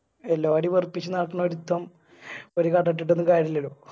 എല്ലാരിയു വെറുപ്പിച്ച് നടക്കുന്ന ഒരുത്തൻ ഒരു കട ഇട്ടിട്ടൊന്നും കാര്യുല്ലല്ലോ